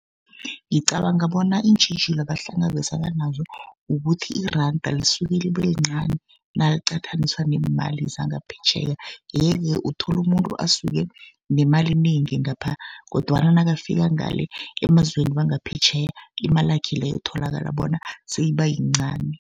Ngicabanga bona iintjhijilo abahlangabezana nazo, ukuthi iranda lisuke libe lincani naliqathaniswa neemali zangaphetjheya. Ye-ke uthola umuntu asuke nemali enengi ngapha kodwana nakafika ngale emazweni wangaphetjheya, imalakhe leyo tholakala bona seyiba yincani.